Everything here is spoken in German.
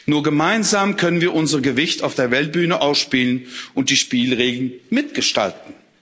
Nur gemeinsam können wir unser Gewicht auf der Weltbühne ausspielen und die Spielregeln mitgestalten.